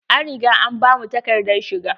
An riga an bamu takadar shiga.